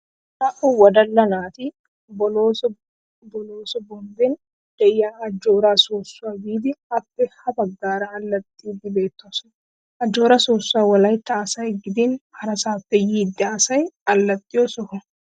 Naa'u wodalla naati boloose boloose bommben de'iya ajjoora soossuwa biiddi appe ha baggaara allaxxiiddii beettoosona. Ajjoora soossuwa wolaytta asay gidin harasaappe yiida asay allaxiyo soho.